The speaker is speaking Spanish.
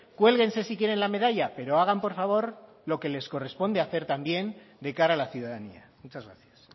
cuélguense si quieren la medalla pero hagan por favor lo que les corresponde hacer también de cara a la ciudadanía muchas gracias